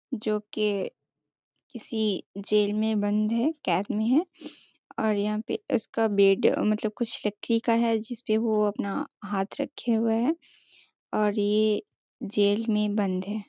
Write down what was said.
जो के किसी जेल में बंद है कैद में है और यहाँ पे उसका बेड मलतब कुछ लकड़ी का है जिसपे वो अपना हाथ रखे हुए हैं और ये जेल में बंद है।